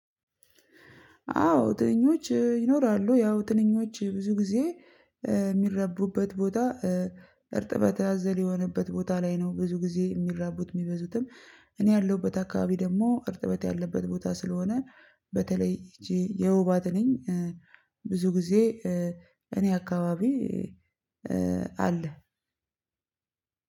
አዎ ጥንኞች ይኖራሉ ያው ጥንኞች ብዙ ጊዜ የሚረቡበት ቦታ እርጥበት ያዘለየበት ቦታ ላይ ነው። ብዙ ጊዜ የሚራቡት የሚበዙትም እኔ ያለሁበት አካባቢ ደግሞ እርጥበት ያለበት ቦታ ስለሆነ በተለይ ይቺ የውባት ነኝ። ብዙ ጊዜ እኔ አካባቢ አለ።